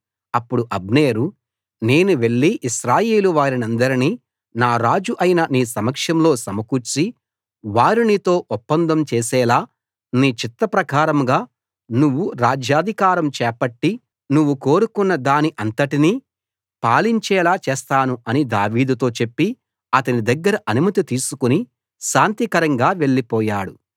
అప్పుడు అబ్నేరు నేను వెళ్లి ఇశ్రాయేలు వారినందరినీ నా రాజు అయిన నీ సమక్షంలో సమకూర్చి వారు నీతో ఒప్పందం చేసేలా నీ చిత్త ప్రకారంగా నువ్వు రాజ్యాధికారం చేపట్టి నువ్వు కోరుకున్నదాని అంతటినీ పాలించేలా చేస్తాను అని దావీదుతో చెప్పి అతని దగ్గర అనుమతి తీసుకుని శాంతికరంగా వెళ్లిపోయాడు